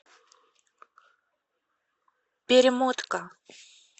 перемотка